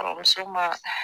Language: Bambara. Kɔrɔmuso ma